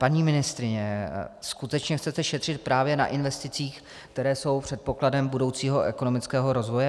Paní ministryně, skutečně chcete šetřit právě na investicích, které jsou předpokladem budoucího ekonomického rozvoje?